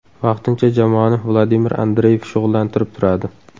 Vaqtincha jamoani Vladimir Andreyev shug‘ullantirib turadi.